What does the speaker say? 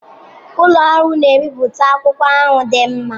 Ụlọ ọrụ na-ebipụta akwụkwọ ahụ dị mma.